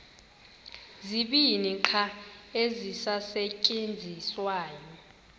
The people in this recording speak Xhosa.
zibini qha ezisasetyenziswayo